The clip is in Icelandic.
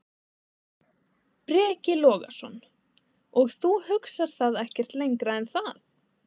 Breki Logason: Og þú hugsar það ekkert lengra en það?